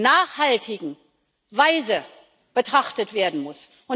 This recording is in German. nachhaltigen Weise betrachtet werden muss.